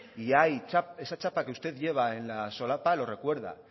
y ahí esa chapa que usted lleva en la solapa lo recuerda